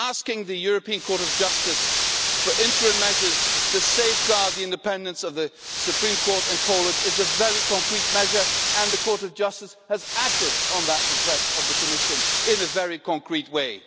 Asking the European Court of Justice for interim measures to safeguard the independence of the Supreme Court in Poland is a very concrete measure, and the Court of Justice has acted on that request of the Commission in a very concrete way.